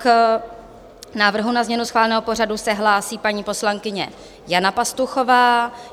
K návrhu na změnu schváleného pořadu se hlásí paní poslankyně Jana Pastuchová.